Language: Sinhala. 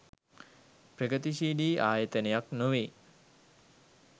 ප්‍රගතිශීලී ආයතනයක් නොවේ.